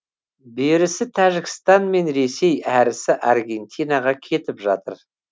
берісі тәжікстан мен ресей әрісі аргентинаға кетіп жатыр